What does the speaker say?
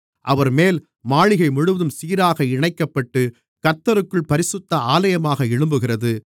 அவர்மேல் மாளிகை முழுவதும் சீராக இணைக்கப்பட்டு கர்த்தருக்குள் பரிசுத்த ஆலயமாக எழும்புகிறது